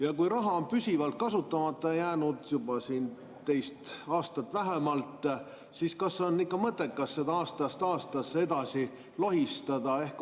Ja kui raha on püsivalt kasutamata jäänud juba teist aastat vähemalt, siis kas on ikka mõttekas seda aastast aastasse edasi lohistada?